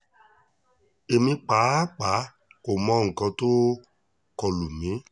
èmi pàápàá kò mọ nǹkan tó kọ lù mí